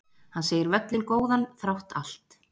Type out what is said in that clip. Hann segir völlinn góðan þrátt allt